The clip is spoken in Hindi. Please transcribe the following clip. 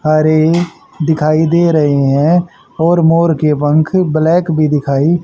हरे दिखाई दे रहे हैं और मोर के पंख ब्लैक भी दिखाई--